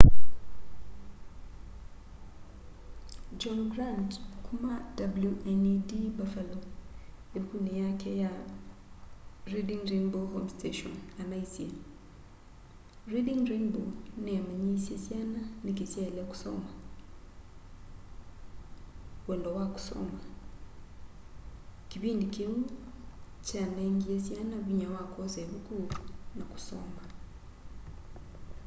john grant kuma wned buffalo ivukuni yake reading rainbow home station anaisye reading rainbow niyamanyiisye syana niki syaile kusoma wendo wa kusoma - kivindi kiu kyanengie syana vinya wa kwosa ivuku na kusoma.